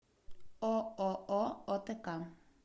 ооо отк